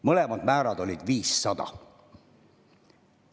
Mõlemad määrad olid 500.